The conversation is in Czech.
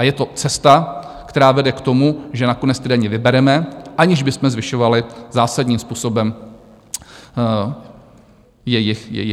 A je to cesta, která vede k tomu, že nakonec ty daně vybereme, aniž bychom zvyšovali zásadním způsobem jejich výši.